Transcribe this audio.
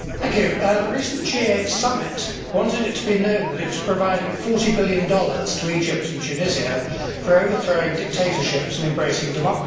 The recent G8 summit wanted it to be known that it was providing USD 40 billion to Egypt and Tunisia for overthrowing dictatorships and embracing democracy.